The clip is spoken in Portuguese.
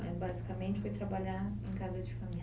Mas basicamente foi trabalhar em casa de família.